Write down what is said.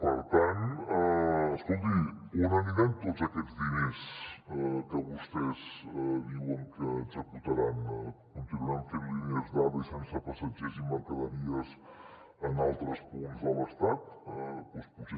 per tant escolti on aniran tots aquests diners que vostès diuen que executaran continuaran fent línies d’ave sense passatgers i mercaderies en altres punts de l’estat doncs potser